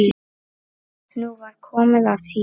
Nú var komið að mér.